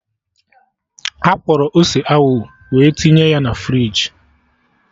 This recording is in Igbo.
Akwọrọ ose ahụ we tinye ya na friji